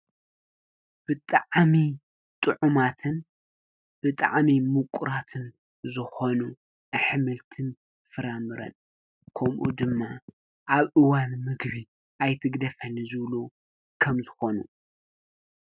ብጣዕሚ ጥዑማትን ብጣዕሚ ምቁራትን ዝኮኑ ኣሕምልቲን ፍራምረን ከምኡ ድማ ኣብ እዋን ምግቢ ኣይትግደፈኒ ዝብሉ ከምዝኮኑ።